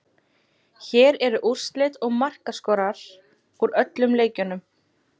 Hér eru úrslit og markaskorarar úr öllum leikjunum: